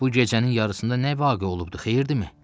Bu gecənin yarısında nə vaqe olubdur, xeyirdimi?